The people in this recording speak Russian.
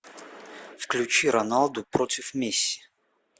включи роналду против месси